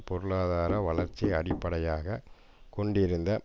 பொருளாதார வளர்ச்சி அடிப்படையாக கொண்டிருந்த